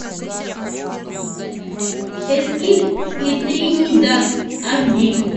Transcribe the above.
эскиль и тринидад аш ди